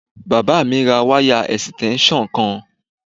Bàbá mi ra wáyà ẹ̀sìtẹ́ńsàn kan